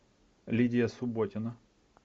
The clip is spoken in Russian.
лидия субботина